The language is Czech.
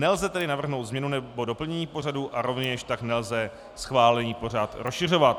Nelze tedy navrhnout změnu nebo doplnění pořadu a rovněž tak nelze schválený pořad rozšiřovat.